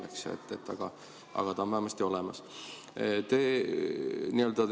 Aga see energia on vähemasti olemas.